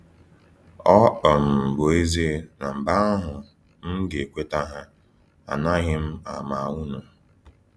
Ọ um bụ ezie na mgbe ahụ m ga -ekweta ha: “Anaghị m ama unu!”